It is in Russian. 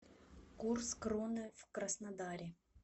курс кроны в краснодаре